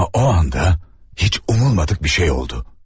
Amma o anda heç umulmadık bir şey oldu.